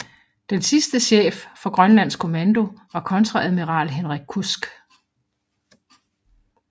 Den sidste chef for Grønlands Kommando var kontreadmiral Henrik Kudsk